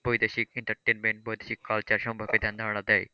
বৈদেশিক entertainment বৈদেশিক culture সম্পর্কে ধ্যানধারণা দেয়।